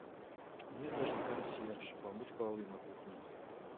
мне нужен консьерж помыть полы на кухне